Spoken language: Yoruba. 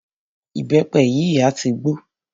Ìbẹ́pẹ yìí a tí gbó.